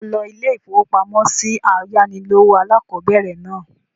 Ṣé ọ lo ilé-ìfowópamọ́sí ayánilówó alákọ̀bẹ̀rẹ̀ náà?